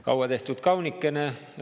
Kaua tehtud, kaunikene!